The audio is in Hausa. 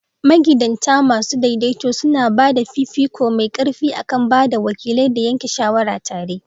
Magidanta masu daidaito suna ba da fifiko mai ƙarfi a kan ba da wakilai da yanke shawara tare.